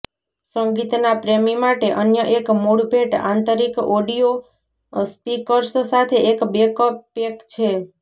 સંગીતના પ્રેમી માટે અન્ય એક મૂળ ભેટ આંતરિક ઑડિઓ સ્પીકર્સ સાથે એક બેકપેક છે